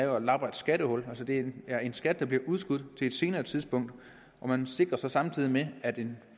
der lapper et skattehul altså det er en skat der bliver udskudt til et senere tidspunkt og man sikrer samtidig at en